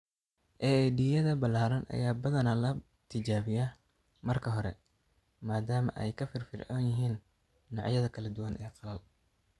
AED-yada ballaaran ayaa badanaa la tijaabiyaa marka hore maadaama ay ka firfircoon yihiin noocyada kala duwan ee qalal.